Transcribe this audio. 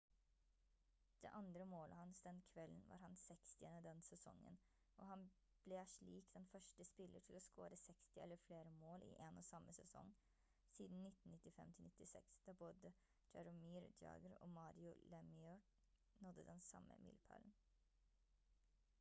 det andre målet hans den kvelden var hans 60. den sesongen og han ble slik den første spiller til å score 60 eller flere mål i en og samme sesong siden 1995-96 da både jaromir jagr og mario lemieux nådde den samme milepælen